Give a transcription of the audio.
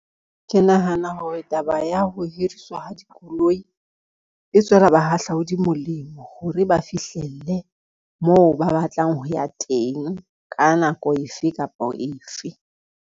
Ke nahana hore taba ya ho hiriswa ha dikoloi, e tswela bahahlaudi molemo hore ba fihlelle moo ba batlang ho ya teng ka nako efe kapa efe.